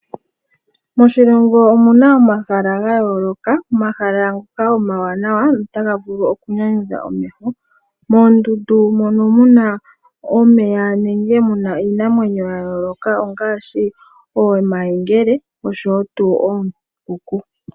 Moshilongo omuna omahala ga yooloka, omahala ngoka omawanawa notaga vulu okunyanyudha omeho. Moondundu mono muna omeya nenge muna iinamwenyo ya yooloka ongaashi omayemgele oshowo tuu oombuku.